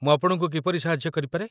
ମୁଁ ଆପଣଙ୍କୁ କିପରି ସାହାଯ୍ୟ କରିପାରେ?